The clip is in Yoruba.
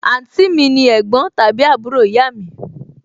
àǹtí mi ni ẹ̀gbọ́n tàbí àbúrò ìyá mi